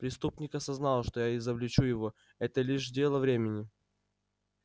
преступник осознал что я изобличу его это лишь дело времени